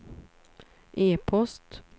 e-post